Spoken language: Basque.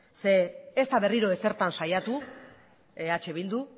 ez da berriro ezertan saiatu eh bildu